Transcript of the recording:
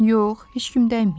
Yox, heç kim dəyməyib.